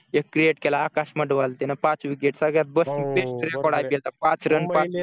एक create केला आकाश मडवाल त्याने पाच wicket सगळ्यात बेस्ट रेकॉर्ड आहे त्याचा